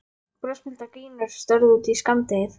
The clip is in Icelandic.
Brosmildar gínur störðu út í skammdegið.